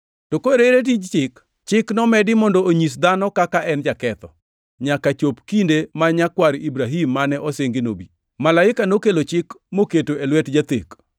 To koro ere tij Chik? Chik nomedi mondo onyis dhano kaka en jaketho, nyaka chop kinde ma nyakwar Ibrahim mane osingi nobi. Malaika nokelo Chik moketo e lwet jathek.